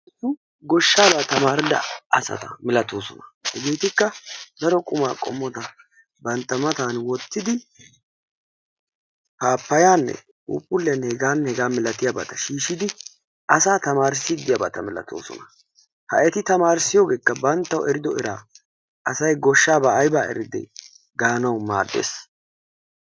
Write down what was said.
Goshshaaba tamaridda asata milatoosona, hegetikka daro qumma qommota bantta matan wottidi pappayanne phuupguliyanne heganne hega milatiyaabata shiishshidi asaa tamarsside diyaaba malatoosona. Ha eti tamarissiyogeekka banttawu erido era, asay goshshaaba aybaa eride maanawu maaddees.